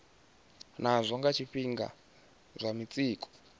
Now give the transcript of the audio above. nazwo nga zwifhinga zwa mitsiko